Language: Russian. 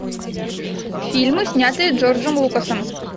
фильмы снятые джорджем лукасом